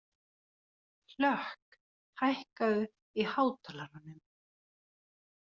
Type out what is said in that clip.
Hlökk, hækkaðu í hátalaranum.